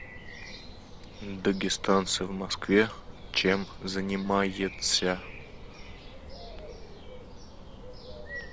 дагестанцы в москве чем занимается